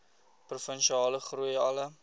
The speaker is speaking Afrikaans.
provinsiale groei alle